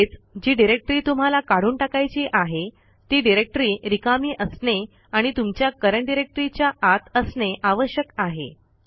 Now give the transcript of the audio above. तसेच जी डिरेक्टरी तुम्हाला काढून टाकायची आहे ती डिरेक्टरी रिकामी असणे आणि तुमच्या करंट Directoryच्या आत असणे आवश्यक आहे